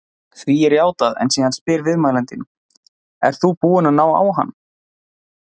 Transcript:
Því er játað en síðan spyr viðmælandinn: Ert þú búinn að ná á hann?